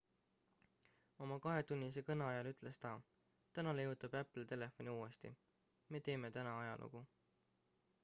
oma kahetunnise kõne ajal ütles ta täna leiutab apple telefoni uuesti me teeme täna ajalugu